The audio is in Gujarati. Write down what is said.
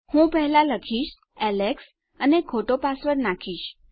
હું પહેલા લખીશ એલેક્સ અને હું ખોટો પાસવર્ડ નાખીશ